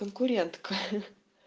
конкурентка